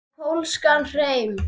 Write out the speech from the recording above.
Og pólskan hreim.